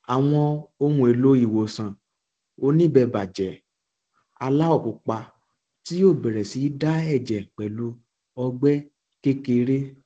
àwọn ohunèlò ìwòsàn oníbébà jẹ aláwọ pupa tí yóò bẹrẹ sí da ẹjẹ pẹlú ọgbẹ kékeré